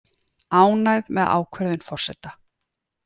Ánægð með ákvörðun forseta